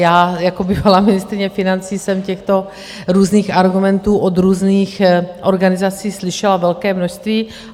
Já jako bývalá ministryně financí jsem těchto různých argumentů od různých organizací slyšela velké množství.